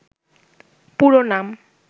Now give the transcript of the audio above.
পুরো নাম